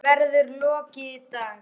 Honum verður lokið í dag.